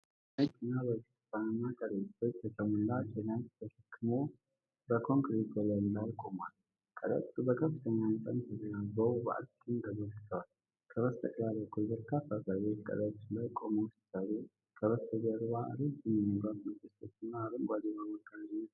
አንድ ነጭ የጭነት መኪና በብርቱካናማ ከረጢቶች የተሞላ ጭነት ተሸክሞ በኮንክሪት ወለል ላይ ይቆማል። ከረጢቶቹ በከፍተኛ መጠን ተደራርበው በአግድም ተዘርግተዋል። ከበስተግራ በኩል በርካታ ሰዎች ከረጢቶቹ ላይ ቆመው ሲሰሩ፣ ከበስተጀርባ ረጅም የመብራት ምሰሶዎችና አረንጓዴ የባቡር ጋሪዎች አሉ።